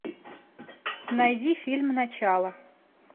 найди фильм начало